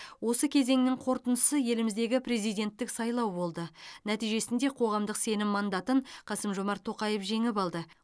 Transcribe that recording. осы кезеңнің қорытындысы еліміздегі президенттік сайлау болды нәтижесінде қоғамдық сенім мандатын қасым жомарт тоқаев жеңіп алды